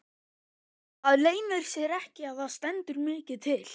Það leynir sér ekki að það stendur mikið til.